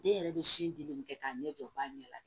Den yɛrɛ bɛ sin di den ma k'a ɲɛ jɔ o b'a ɲɛ la